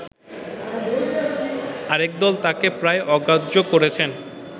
আরেকদল তাঁকে প্রায় অগ্রাহ্য করেছেন